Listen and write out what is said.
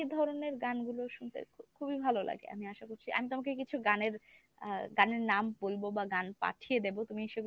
এই এই ধরনের গানগুলো শুনতে খুবই ভালো লাগে আমি আশা করছি আমি তোমাকে কিছু গানের আহ গানের নাম বলবো বা গান পাঠিয়ে দেব তুমি সেগুলো ‍শুনে তোমারও আশা করছি ভালো লাগবে।